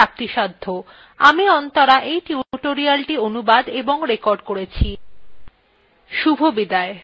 আমি অন্তরা এই টিউটোরিয়ালthe অনুবাদ এবং রেকর্ড করেছি শুভবিদায়